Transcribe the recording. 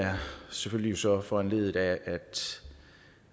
selvfølgelig så foranlediget af at